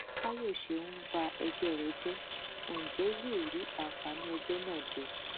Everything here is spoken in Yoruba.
fàyọṣe ń ba ẹgbẹ rẹ jẹ ń jẹ yóò rí àǹfààní ẹgbẹ náà jẹ